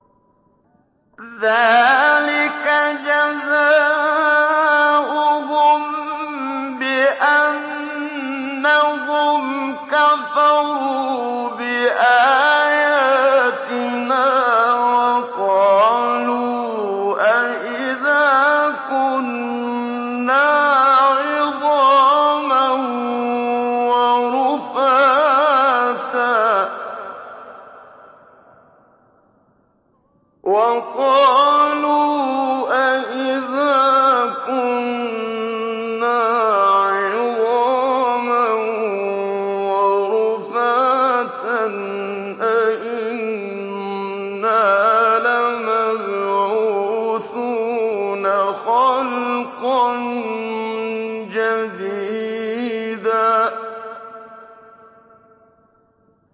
ذَٰلِكَ جَزَاؤُهُم بِأَنَّهُمْ كَفَرُوا بِآيَاتِنَا وَقَالُوا أَإِذَا كُنَّا عِظَامًا وَرُفَاتًا أَإِنَّا لَمَبْعُوثُونَ خَلْقًا جَدِيدًا